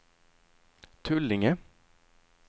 Tullinge